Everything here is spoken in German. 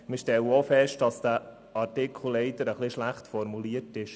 Auch wir stellten fest, dass dieser Artikel leider etwas schlecht formuliert ist.